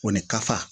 O ni kafa